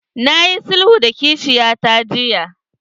Na yi sulhu da kishiyata jiya.